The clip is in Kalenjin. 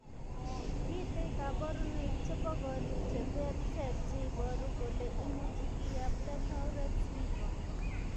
Mitei kaborunoik chebo korik cheterter cheiboru kole imuchi kiyapta tourette syndrome.